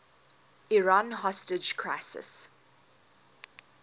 iran hostage crisis